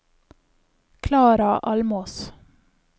Klara Almås